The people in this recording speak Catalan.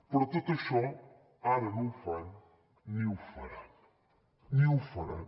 però tot això ara no ho fan ni ho faran ni ho faran